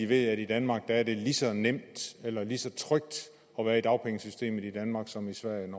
ved at i danmark er det lige så nemt eller lige så trygt at være i dagpengesystemet som i sverige